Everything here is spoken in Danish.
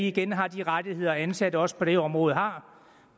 igen har de rettigheder ansatte også på det område har